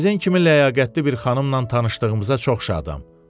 Sizin kimi ləyaqətli bir xanımla tanışdığımıza çox şadam.